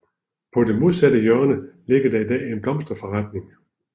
På det modsatte hjørne ligger der i dag en blomsterforretning